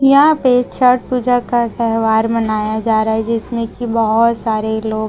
यहां पे छठ पूजा का त्यौहार मनाया जा रहा जिसमें की बहोत सारे लोग--